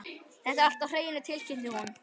Þetta er allt á hreinu, tilkynnti hún.